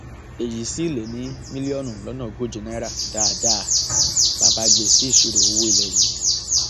èyí sì lé ní mílíọnù lọnà ogóje náírà dáadáa bá a bá gbé e sí ìṣirò owó ilé yìí